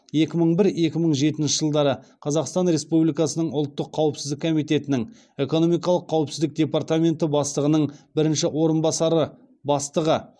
екі мың бір екі мың жетінші жылдары қазақстан республикасының ұлттық қауіпсіздік комитетінің экономикалық қауіпсіздік департаменті бастығының бірінші орынбасары бастығы